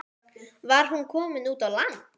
Var hún komin út á land?